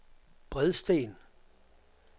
Bredsten